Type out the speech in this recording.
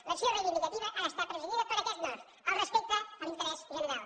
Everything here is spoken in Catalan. l’acció reivindicativa ha d’estar presidida per aquest nord el respecte a l’interès general